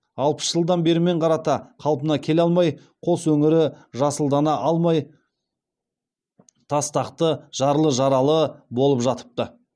алпыс жылдан бермен қарата қалпына келе алмай қос өңірі жасылдана алмай тастақты жарлы жаралы болып жатыпты